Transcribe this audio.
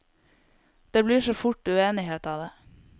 Det blir så fort uenighet av det.